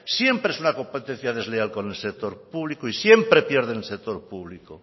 siempre es una competencia desleal con el sector público y siempre pierde el sector público